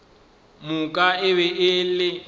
moka e be e le